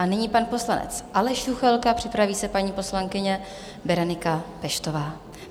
A nyní pan poslanec Aleš Juchelka, připraví se paní poslankyně Berenika Peštová.